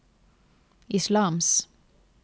islams